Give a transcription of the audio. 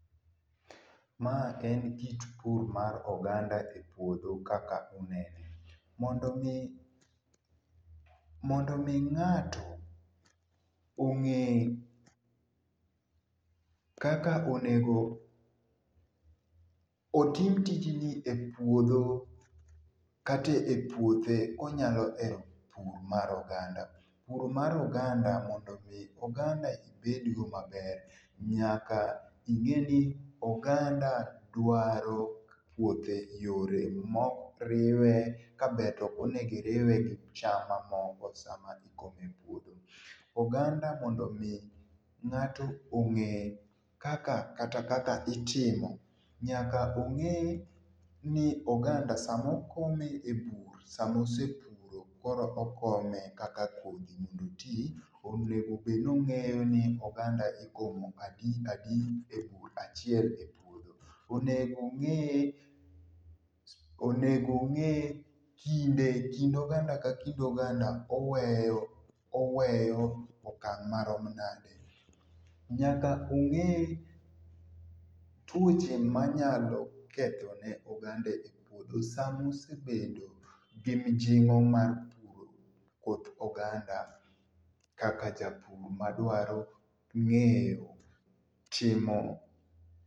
Mae en kit pur mar oganda e puodho kaka unene, mondo omi mondo omi ngato, onge kaka onego otim tijni e puodho kata e puothe konyalo ero pur mar oganda, pur mar oganda mondo o mi oganda ibedgo maber nyaka ingeni oganda dwaro puothe yore ma okriwe ka ber to okonigo iriwe gi cham mamoko sama ikomo e puothe. Oganda mondo mi ngato onge kaka kata kaka itimo. Nyaka onge ni oganda sama okome e bur sama esepuro koro okome kaka kodhi mondo otii onego bed ni ongeyo ni oganda ikome adi adi e bur achiel e puoth. Onego onge kind oganda ka kind oganda oweyo oweyo okang ma rom nade. Nyaka onge tuoche manyalo kethone oganda e puodho sama esebedo gi mijingo mar puro puoth oganda kaka ja pur madwaro ngeo chimo